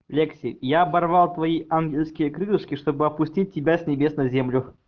лекси я оборвал твои ангельские крылышки чтобы опустить тебя с небес на землю